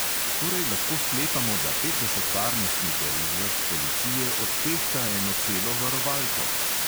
Torej lahko sklepamo, da petdeset varnostnikov iz vrst policije odtehta eno celo varovalko?